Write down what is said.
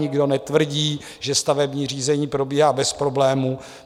Nikdo netvrdí, že stavební řízení probíhá bez problémů.